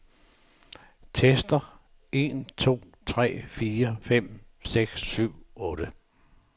Tester en to tre fire fem seks syv otte.